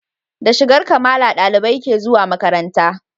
Da shigar Kamala ɗalibai ke zuwa makaranta